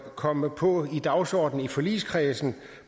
komme på dagsordenen i forligskredsen